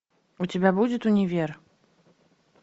у тебя будет универ